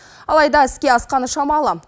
алайда іске асқаны шамалы